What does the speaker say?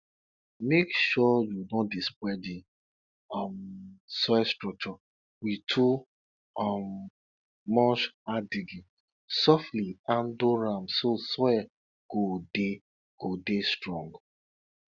make sure you no dey spoil di um soil structure with too um much hard digging softly handle am so soil go dey go dey strong